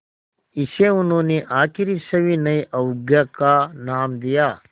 इसे उन्होंने आख़िरी सविनय अवज्ञा का नाम दिया